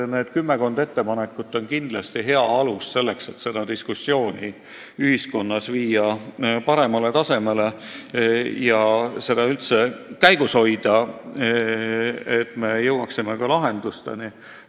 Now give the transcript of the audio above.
Need kümmekond ettepanekut on kindlasti hea alus, et selleteemalist diskussiooni ühiskonnas kõrgemale tasemele viia ja seda üldse käigus hoida, et me jõuaksime ka lahendusteni.